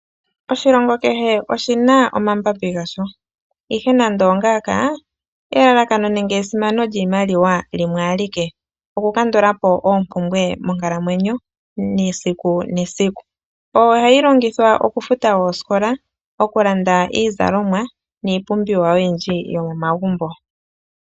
Oshilongo kehe oshina omambambi gasho ihe nando ongaaka, elalakano n1enge esimano lyiimaliwa limwe alike, okukandula po oompumbwe monkalamwenyo yesiku nesiku, oyo hayi longithwa okufuta oosikola, okulanda iizalomwa niipumbiwa oyindji yomomagumbo.